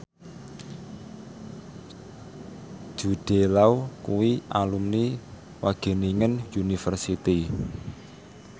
Jude Law kuwi alumni Wageningen University